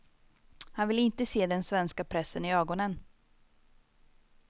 Han vill inte se den svenska pressen i ögonen.